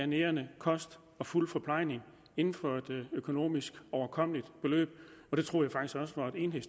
nærende kost og fuld forplejning inden for et økonomisk overkommeligt beløb og det troede